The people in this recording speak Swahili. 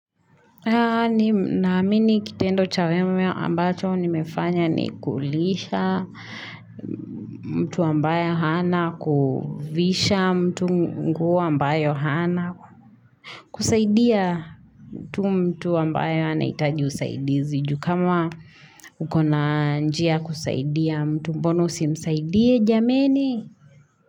Na amini kitendo chawewe ambacho ni mefanya ni kulisha mtu ambayo hana kufisha mtu mgu ambayo hana kusaidia mtu ambayo hana itaji usaidizi. Jukama ukona njia kusaidia mtu mbona usi msaidie jameni.